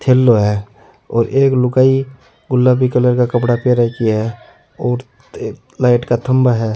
थेलो है और एक लुगाई गुलाबी कलर का कपडा पहन राखी है लाइट का थम्भा है।